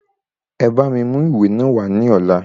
E bá mi mú ìwé náà wá ní ọ̀la.